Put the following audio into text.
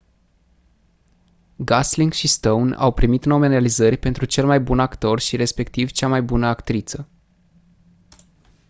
gosling și stone au primit nominalizări pentru cel mai bun actor și respectiv cea mai bună actriță